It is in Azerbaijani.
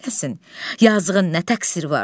Yazığın nə təqsiri var?